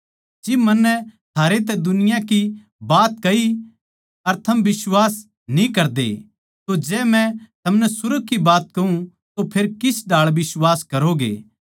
जिब मन्नै थारैतै दुनिया की बात कही अर थम बिश्वास न्ही करदे तो जै मै थमनै सुर्ग की बात कहूँ तो फेर किस ढाळ बिश्वास करोगे